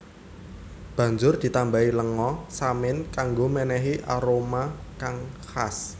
Banjur ditambahi lenga samin kanggo menehi aroma kang khas